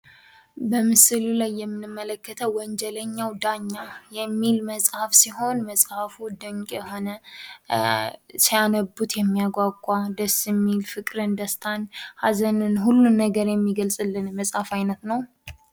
በምሥሉ ላይ የምንመለከተው ወንጀለኛው ዳኛ የሚል መጽሐፍ ሲሆን፤ መጽሐፍ ድንቅ የሆነ። ሲያነቡት የሚያጓጓ ደስ የሚል ፍቅርን ፣ ደስታን ፣ ሐዘንን ሁሉን ነገር የሚገልጽን መጻፍ ዓይነት ነው።